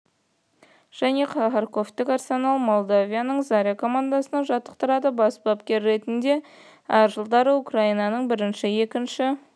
және харковьтік арсенал молдавияның заря командасын жаттықтырды бас бапкер ретінде әр жылдары украинаның бірінші екінші